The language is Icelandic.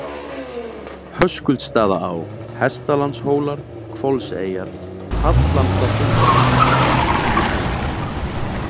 Höskuldsstaðaá, Hestalandshólar, Hvolseyjar, Hallandaþúfa